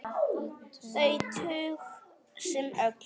Þau tög sem öll.